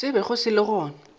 se bego se le gona